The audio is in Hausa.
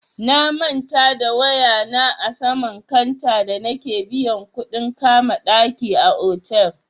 Na manta da waya na a saman kanta da nake biyan kuɗin kama ɗaki a otal.